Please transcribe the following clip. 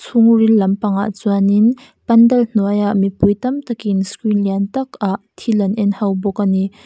chhungril lampang ah chuanin pandal hnuaiah mipui tamtak in screen lian tak ah thil an en ho bawk ani.